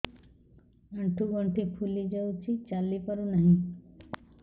ଆଂଠୁ ଗଂଠି ଫୁଲି ଯାଉଛି ଚାଲି ପାରୁ ନାହିଁ